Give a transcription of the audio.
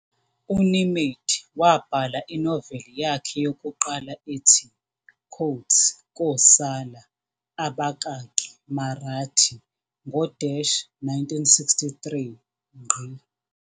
UNemade wabhala inoveli yakhe yokuqala ethi Kosala, Marathi, ngo-1963.